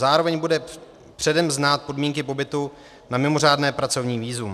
Zároveň bude předem znát podmínky pobytu na mimořádné pracovní vízum.